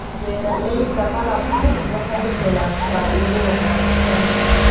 Beeralayda malabku waxay helaan faa'iido wanaagsan.